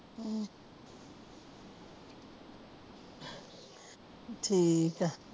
ਹਮ ਠੀਕ ਕਾ